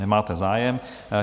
Nemáte zájem.